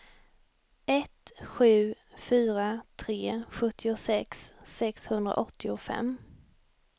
ett sju fyra tre sjuttiosex sexhundraåttiofem